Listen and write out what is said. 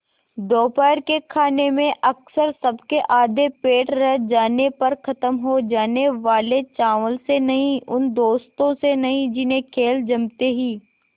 दोपहर के खाने में अक्सर सबके आधे पेट रह जाने पर ख़त्म हो जाने वाले चावल से नहीं उन दोस्तों से नहीं जिन्हें खेल जमते ही